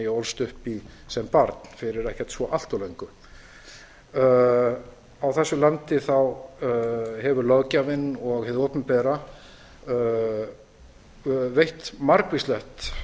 ólst upp í sem barn fyrir ekkert allt of löngu á þessu landi hefur löggjafinn og hið opinbera veitt margvíslegt